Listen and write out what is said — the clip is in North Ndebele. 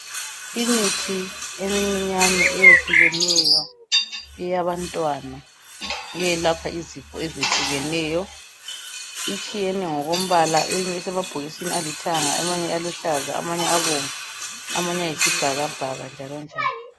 Imithi emincinyane eyehlukeneyo eyabantwana eyelapha izifo ezehlukeneyo itshiyene ngokombala eyinye isemabhokisini alithanga amanye aluhlaza amanye abomvu amanye ayisibhakabhaka njalonjalo.